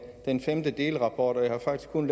den femte delrapport og jeg har faktisk kun